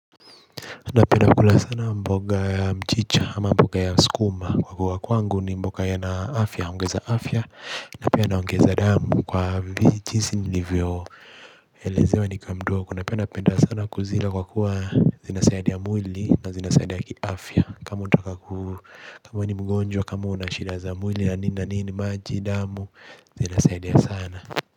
Napenda kula sana mboga ya mchicha ama mboga ya skuma kwa kuwa kwangu ni mboga yana afya, uongeza afya na pia naongeza damu kwa vi jinsi nilivyo elezewa nikawa mdogo na pia napenda sana kuzila kwa kuwa zinasaidia mwili na zina saidia kiafya. Kama unataka kuu, kama we ni mgonjwa, kama unashida za mwili na nina nini, maji, damu, zina saidia sana.